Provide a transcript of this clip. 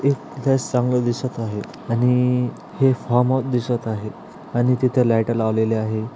एक चांगल दिसत आहे आणि हे फार्म हाउस दिसत आहे आणि तिथे लाइटा लावलेल्या आहे.